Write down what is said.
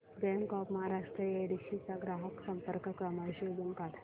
bank of Maharashtra Yedshi चा ग्राहक संपर्क क्रमांक शोधून सांग